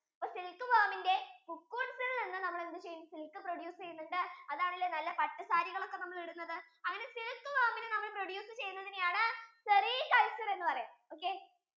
അപ്പൊ silk worm ഇന്റെ cocoons യിൽ നിന്ന് നമ്മൾ എന്ത് ചെയ്യും silk produce ചെയ്യുന്നുണ്ട് അതണലേ നല്ല പച്ച സാരി ഒക്കെ നമ്മൾ ഇടുന്നതു അങ്ങനെ silk worm ഇനി നമ്മൾ produce ചെയ്യുന്നതിനെ ആണ് cericulture എന്ന് പറയുന്നത് okay